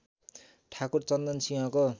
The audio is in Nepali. ठाकुर चन्दन सिंहको